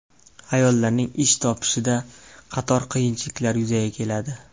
Ayollarning ish topishida qator qiyinchiliklar yuzaga keladi.